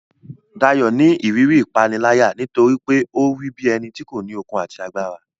Dayo ni ìrírí ìpániláyà nítorí pé ó rí bí ẹni tí kò ní okun àti agbára.